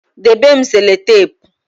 debe m sellotape